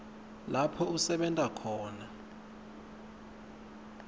lapho usebenta khona